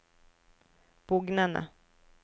bugnende